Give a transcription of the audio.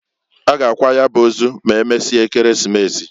M'emesie Ekeresimesi.